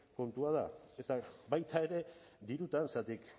kontua da eta baita ere dirutan zergatik